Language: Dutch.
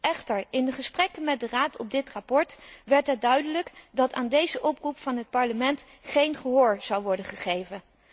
Echter, in de gesprekken met de Raad over dit verslag werd het duidelijk dat aan deze oproep van het Parlement geen gehoor zou worden gegeven.